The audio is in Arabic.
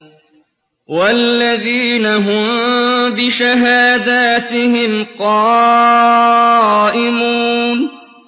وَالَّذِينَ هُم بِشَهَادَاتِهِمْ قَائِمُونَ